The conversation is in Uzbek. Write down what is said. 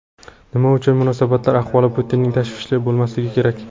Nima uchun munosabatlar ahvoli Putinning tashvishi bo‘lmasligi kerak?